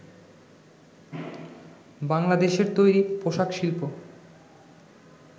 বাংলাদেশের তৈরি পোশাক শিল্প